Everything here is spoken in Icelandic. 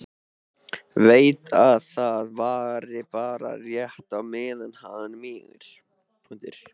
Veit að það varir bara rétt á meðan hann mígur.